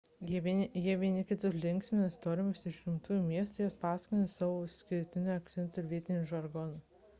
jie vieni kitus linksmina istorijomis iš gimtųjų miestų jas pasakodami savo išskirtiniu akcentu ir vietiniu žargonu